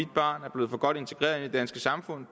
barn er blevet for godt integreret i det danske samfund